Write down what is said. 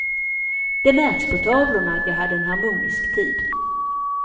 Det märks på tavlorna att jag hade en harmonisk tid.